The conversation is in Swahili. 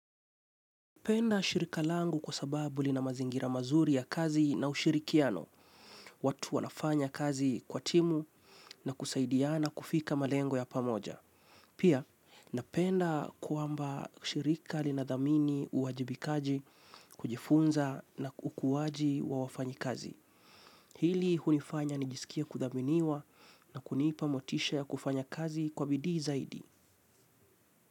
Penda shirika langu kwa sababu lina mazingira mazuri ya kazi na ushirikiano. Watu wanafanya kazi kwa timu na kusaidiana kufika malengo ya pamoja. Pia, napenda kwamba shirika linathamini uwajibikaji, kujifunza na ukuwaji wa wafanyikazi. Hili hunifanya nijisikie kuthaminiwa na kunipa motisha ya kufanya kazi kwa bidii zaidi.